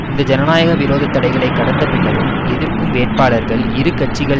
இந்த ஜனநாயக விரோத தடைகளை கடந்த பின்னரும் எதிர்க்கும் வேட்பாளர்கள் இரு கட்சிகள்